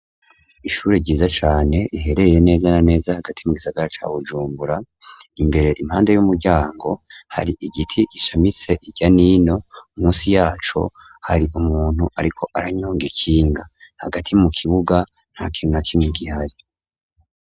ishure ryiza cane riherereye neza na neza hagati mu gisagara ca bujumbura imbere impande y'umuryango hari igiti gishamitse irya nino munsi yaco hari umuntu ariko aranyonga ikinga hagati mu kibuga nta kintu na kimwe gihari